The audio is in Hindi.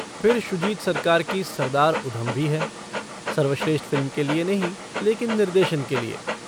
फिर शुजित सरकार की सरदार उधम भी है सर्वश्रेष्ठ फ़िल्म के लिए नहीं लेकिन निर्देशन के लिए।